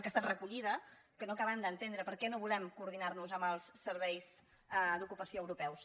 que ha estat recollida que no acabem d’entendre per què no volem coordinar·nos amb els serveis d’ocupació europeus